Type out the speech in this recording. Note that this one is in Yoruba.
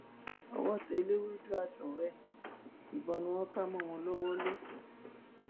owó tẹ ẹlẹwẹdù àtọrẹ ẹ ìbọn ni wọn kà mọ wọn lọwọ lẹkọọ